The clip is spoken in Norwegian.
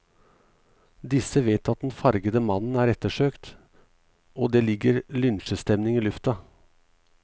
Disse vet at den fargede mannen er ettersøkt, og det ligger lynsjestemning i lufta.